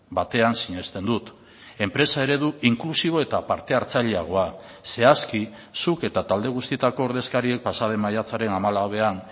batean sinesten dut enpresa eredu inklusibo eta parte hartzaileagoa zehazki zuk eta talde guztietako ordezkariek pasaden maiatzaren hamalauean